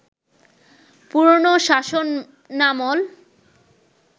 পুরনো শাসনামল